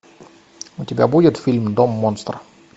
у тебя будет фильм дом монстр